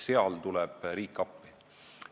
Seal tuleb riik appi.